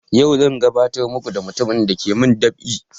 Yau zan gabatar muku da mutumin dake mun dab'i